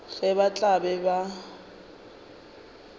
ge ba tla be ba